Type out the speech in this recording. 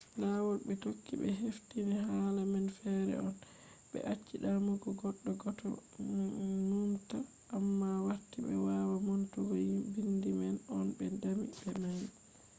lawol be tokki be hefti hala man fere on. be acci damugo goddo goto numta amma warti be wawa numtugo bindi man on be dami be mai